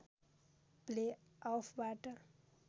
play अफबाट